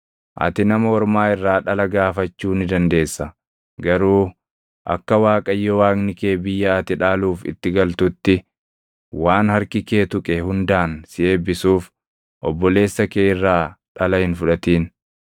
Ati nama ormaa irraa dhala gaafachuu ni dandeessa; garuu akka Waaqayyo Waaqni kee biyya ati dhaaluuf itti galtutti waan harki kee tuqe hundaan si eebbisuuf obboleessa kee irraa dhala hin fudhatin.